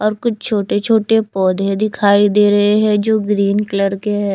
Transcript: और कुछ छोटे छोटे पौधे दिखाई दे रहें हैं जो ग्रीन कलर के हैं।